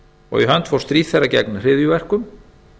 og í hönd fór stríð þeirra gegn hryðjuverkum